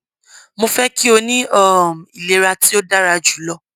mo fẹ ki o ni um ilera ti o dara julọ